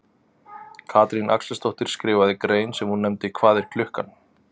Katrín Axelsdóttir skrifaði grein sem hún nefndi Hvað er klukkan?